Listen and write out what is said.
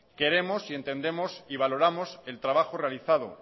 queremos entendemos y valoramos el trabajo realizado